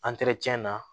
na